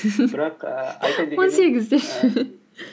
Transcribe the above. бірақ ор сегіз деші